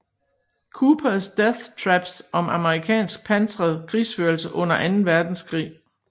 Coopers Death Traps om amerikansk pansret krigsførelse under Anden Verdenskrig